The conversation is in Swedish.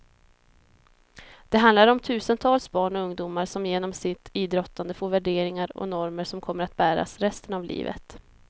Det handlar om tusentals barn och ungdomar som genom sitt idrottande får värderingar och normer som kommer att bäras resten av livet.